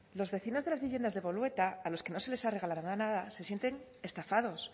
los vecinos de las viviendas de bolueta a los que no se les ha regalado nada se sienten estafados